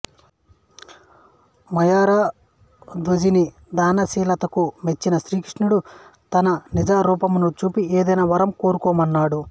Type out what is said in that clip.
మయూరధ్వజుని దానశీలతకు మెచ్చిన శ్రీకృష్ణుడు తన నిజ రూపమును చూపి ఏదేన వరం కోరుకోమన్నాడు